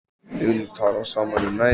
Við getum talað saman í næði